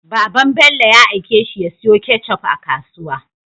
Baban Bello ya aike shi ya siyo ketchup a kasuwa